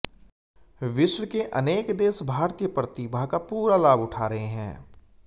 विश्व के अनेक देश भारतीय प्रतिभा का पूरा लाभ उठा रहे हैं